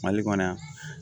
Mali kɔnɔ yan